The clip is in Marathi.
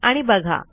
आणि बघा